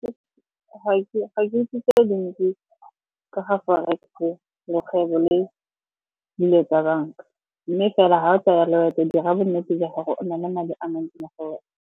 Ga ke itse di le dintsi ka ga Forex-e, le kgwebe le dilo tsa banka. Mme fela ga o tsaya loeto dira bonnete jwa gago o na le madi a mantsi mo go wena.